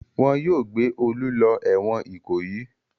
Wọn yóò gbé Olú lọ ẹ̀wọ̀n Ìkòyí.